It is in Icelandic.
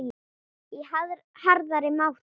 í harðari máta.